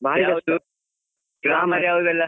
Grammar ಯಾವ್ದೆಲ್ಲಾ.